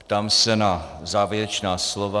Ptám se na závěrečná slova.